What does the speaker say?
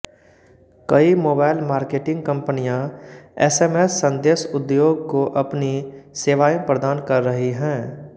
कई mobile marketing कंपनियां SMS संदेश उद्योग को अपनी सेवाएं प्रदान कर रही हैं